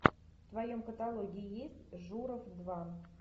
в твоем каталоге есть журов два